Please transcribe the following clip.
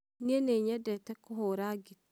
niĩ nĩnyendete kũhũra ngita